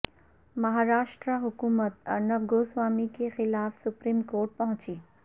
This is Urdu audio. مہاراشٹر حکومت ارنب گوسوامی کے خلاف سپریم کورٹ پہنچی